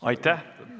Aitäh!